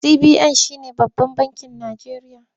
CBN shi ne babban bakin Najeriya.